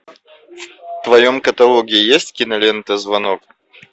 в твоем каталоге есть кинолента звонок